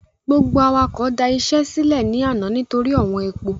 Gbogbo awakọ̀ da iṣẹ́ sílẹ́ ní àná nítorí ọ̀wọ́n epo.